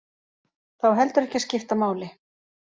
Það á heldur ekki að skipta máli